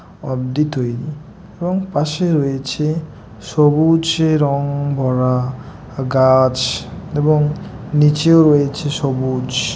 অদ্বি তৈরী এবং পাশে রয়েছে সবুজের - রং ভরা গাছএবং নিচেও রয়েছে সবুজ।